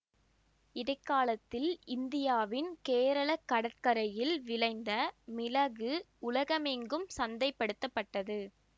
இடை காலத்தில் இந்தியாவின் கேரள கடற்கரையில் விளைந்த மிளகு உலகமெங்கும் சந்தை படுத்தப்பட்டது